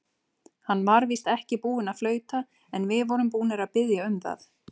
Hann var víst ekki búinn að flauta, en við vorum búnir að biðja um það.